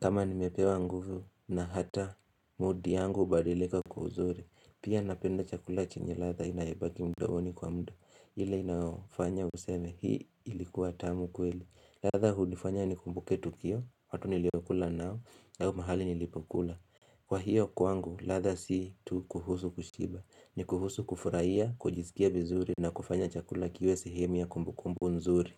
Kama nimepewa nguvu na hata. Mudi yangu ubarileka kuzuri Pia napenda chakula chenye latha inaibaki mdooni kwa mdo ile inafanya useme hii ilikuwa tamu kweli latha hu nifanya nikumbuke tukio watu niliokula nao nao mahali nilipokula. Kwa hiyo kwangu latha si tu kuhusu kushiba. Nikuhusu kufuraiya, kujizikia vizuri na kufanya chakula kiwe sehemu ya kumbukumbu nzuri.